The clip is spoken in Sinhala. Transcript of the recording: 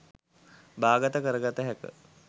බාගත කරගත හැක.